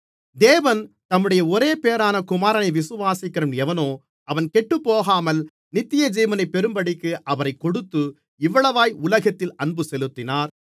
தேவன் தம்முடைய ஒரேபேறான குமாரனை விசுவாசிக்கிறவன் எவனோ அவன் கெட்டுப்போகாமல் நித்தியஜீவனை பெறும்படிக்கு அவரைக் கொடுத்து இவ்வளவாய் உலகத்தில் அன்பு செலுத்தினார்